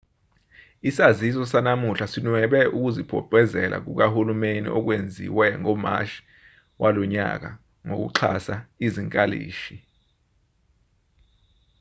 isaziso sanamuhla sinwebe ukuzibophezela kukahulumeni okwenziwe ngomashi walonyaka sokuxhasa izinkalishi